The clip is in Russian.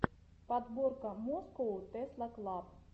подборка москоу тесла клаб